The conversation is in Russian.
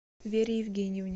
вере евгеньевне